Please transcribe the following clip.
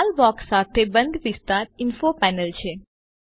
લાલ box સાથે બંધ વિસ્તાર ઇન્ફો પેનલ છે